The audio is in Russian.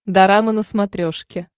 дорама на смотрешке